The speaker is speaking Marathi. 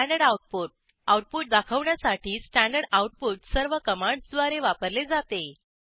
स्टँडर्ड आऊटपुट आऊटपुट दाखवण्यासाठी स्टँडर्ड आऊटपुट सर्व कमांडसद्वारे वापरले जाते